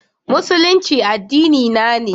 Musulunci addinina ne.